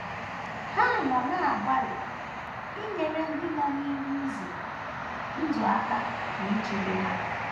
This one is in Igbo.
Ha nọ na - agbalị inyere ndị nọ n’ihe ize ndụ aka na ichebe ha.